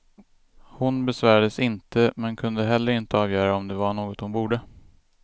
Hon besvärades inte, men kunde heller inte avgöra om det var något hon borde.